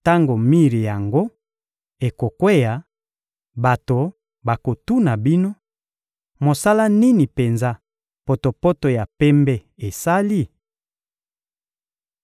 Tango mir yango ekokweya, bato bakotuna bino: ‘Mosala nini penza potopoto ya pembe esali?’